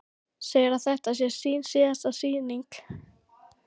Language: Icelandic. Segir að þetta sé sín síðasta sýning.